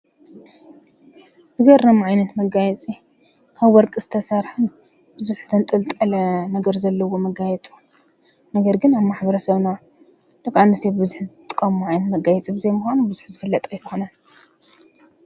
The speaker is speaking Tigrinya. ዝገርም ዓይነት መጋየፂ ካብ ወርቂ ዝተሰረሐ በዙሕ ዝተጠንጠለ ነገር ዘለዎ መጋየፂ እዩ። ነገር ግን አብ ማሕበረ ሰብና ደቂ ኣነስትዮ ብዝሒ ዝጥቀምኦ ዓይነት መጋየፂ ምካኑ ብዙሕ ዝፈለጥ አይኮነን።